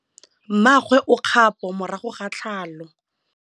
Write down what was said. Mmagwe o kgapô morago ga tlhalô.